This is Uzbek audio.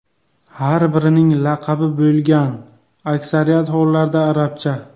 Har birining laqabi bo‘lgan , aksariyat hollarda arabcha.